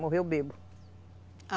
Morreu bêbado.